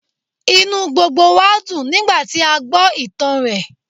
Inú gbogbo wa dùn nígbàtí a gbó ìtàn rẹ̀